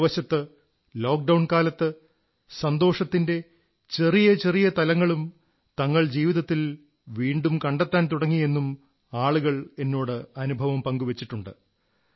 മറുവശത്ത് ലോക്ഡൌൺ കാലത്ത് സന്തോഷത്തിന്റെ ചെറിയ ചെറിയ തലങ്ങളുംതങ്ങൾ ജീവിതത്തിൽ വീണ്ടും കണ്ടെത്താൻ തുടങ്ങി എന്നും ആളുകൾ എന്നോട് അനുഭവം പങ്കുവച്ചിട്ടുണ്ട്